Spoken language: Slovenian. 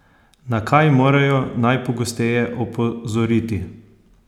Na kaj morajo najpogosteje opozoriti?